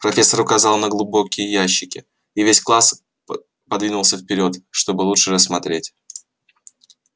профессор указала на глубокие ящики и весь класс по подвинулся вперёд чтобы лучше рассмотреть